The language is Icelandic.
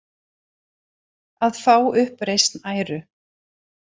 Að fá uppreisn æru